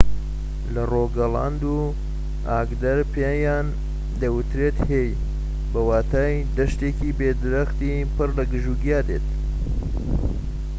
لە ڕۆگالاند و ئاگدەر پێیان دەوترێت هێی بە واتای دەشتێکی بێ درەختی پڕ لە گژوگیا دێت